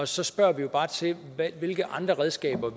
så spørger vi jo bare til hvilke andre redskaber